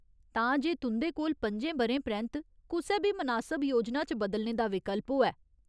तां जे तुं'दे कोल पंजें ब'रें परैंत्त कुसै बी मनासब योजना च बदलने दा विकल्प होऐ।